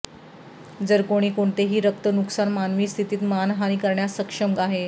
जर कोणी कोणतेहि रक्त नुकसान मानवी स्थिती मानहानी करण्यास सक्षम आहे